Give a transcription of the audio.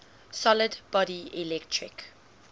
solid body electric